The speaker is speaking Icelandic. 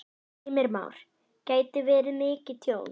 Heimir Már: Gæti verið mikið tjón?